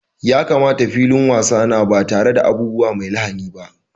Ya kamata filin wasa na ba tare da abubuwa mai lahani ba.